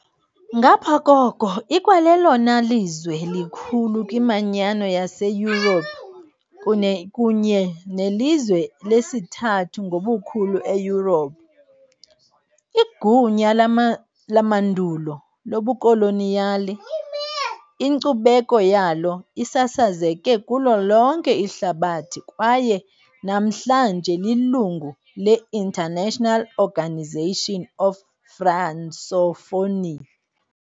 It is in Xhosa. Ngaphaya koko, ikwalelona lizwe likhulu kwiManyano yaseYurophu kunye nelizwe lesithathu ngobukhulu eYurophu. Igunya lamandulo lobukoloniyali, inkcubeko yalo isasazeke kulo lonke ihlabathi kwaye namhlanje lilungu le-International Organisation of Francophonie.